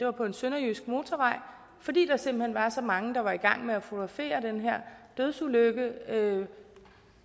var på en sønderjysk motorvej fordi der simpelt hen var så mange der var i gang med at fotografere den her dødsulykke